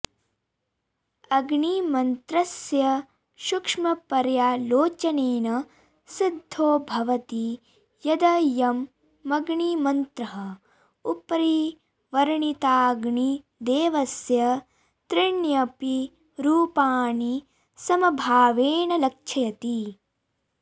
अग्निमन्त्रस्य सूक्ष्मपर्यालोचनेन सिद्धो भवति यदयमग्निमन्त्रः उपरि वर्णिताग्निदेवस्य त्रीण्यपि रूपाणि समभावेन लक्षयति